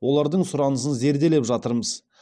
олардың сұранысын зерделеп жатырмыз